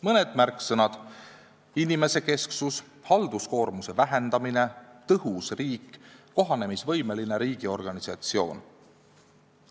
Mõned märksõnad: inimesekesksus, halduskoormuse vähendamine, tõhus riik, kohanemisvõimeline riigiorganisatsioon.